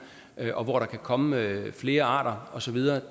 og hvor der kan komme flere arter osv